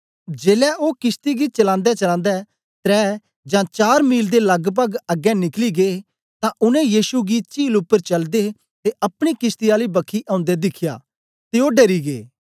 जेलै ओ किशती गी चलांदेचलांदे त्रै जां चार मील दे लगपग अगें निकली गै तां उनै यीशु गी चील उपर चलदे ते अपनी किशती आली बखी औंदे दिख्या ते ओ डरी गै